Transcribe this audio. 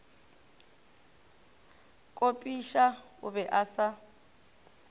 kopiša o be a sa